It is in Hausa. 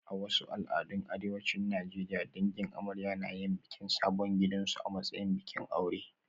A wasu al'adun arewacin Najeriya, dangin amarya na yin bikin sabon gidansu a matsayin bikin aure